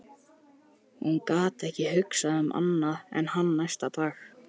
Hún gat ekki hugsað um annað en hann næstu daga.